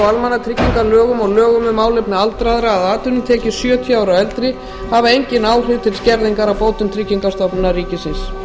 almannatryggingalögum og lögum um málefni aldraðra að atvinnutekjur sjötíu ára og eldri hafa engin áhrif til skerðingar á bótum frá tryggingastofnun ríkisins